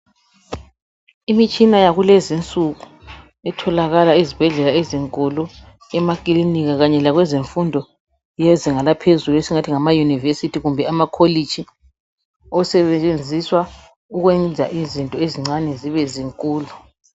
Imitshina yakulezinsuku etholakala ezibhedlela ezinkulu, emakilinika kanye lakwezemfundo yezinga laphezulu esingathi ngamayunivesithi kumbe amakolitshi osebenziswa ukwenza izinto ezincane zibe zinkulu.